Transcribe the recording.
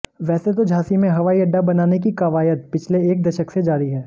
वैसे तो झांसी में हवाई अड्डा बनाने की कवायद पिछले एक दशक से जारी है